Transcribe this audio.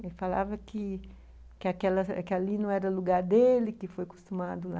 Ele falava que ali não era o lugar dele, que foi acostumado lá.